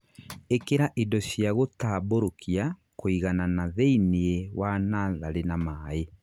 Īkĩra indo cia gũtambũrũkia kũiganana thĩinĩ wa natharĩ na maĩ